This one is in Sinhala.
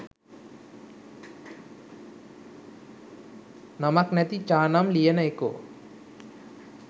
නමක් නැති චානම් ලියන එකෝ.